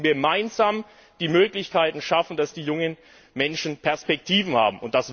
Wir müssen gemeinsam die Möglichkeiten schaffen, dass die jungen Menschen Perspektiven haben.